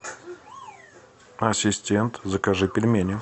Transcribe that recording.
ассистент закажи пельмени